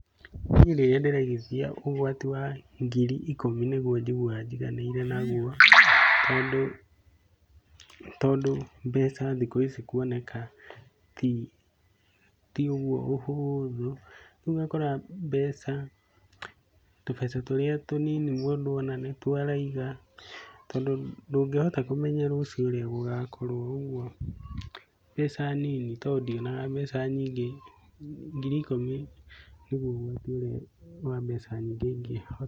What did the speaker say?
Niĩ rĩrĩa ndĩraigithia ũgwati wa ngiri ikũmi nĩguo njiguaga njiganĩire naguo tondũ tondũ mbeca thikũ ici kuoneka ti ũguo ũhũũthũ, rĩu ũgakora mbeca, tũbeca tũrĩa tũnini mũndũ ona nĩtuo araiga tondũ ndũkĩhota kũmenya rũciũ ũrĩa gũgakorwo ũguo mbeca nini to ndionaga mbeca nyingĩ, ngiri ikũmi nĩguo ũgwati ũrĩa wa mbeca nyingĩ ingĩhota.